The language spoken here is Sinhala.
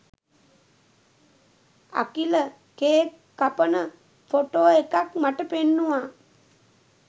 අකිල කේක් කපන ෆොටෝ එකක් මට පෙන්නුවා